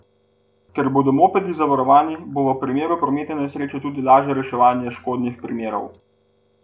Ker bodo mopedi zavarovani, bo v primeru prometne nesreče tudi lažje reševanje škodnih primerov.